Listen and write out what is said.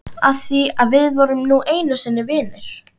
Af því við vorum nú einu sinni vinir.